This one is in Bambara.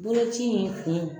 Boloci in kun